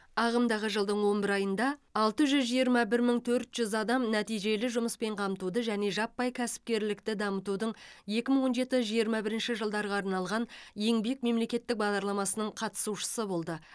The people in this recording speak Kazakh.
ағымдағы жылдың он бір айында алты жүз жиырма бір мың төрт жүз адам нәтижелі жұмыспен қамтуды және жаппай кәсіпкерлікті дамытудың екі мың он жеті жиырма бірінші жылдарға арналған еңбек мемлекеттік бағдарламасының қатысушысы болды